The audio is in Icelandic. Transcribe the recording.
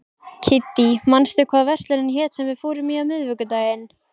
Kiddý, manstu hvað verslunin hét sem við fórum í á miðvikudaginn?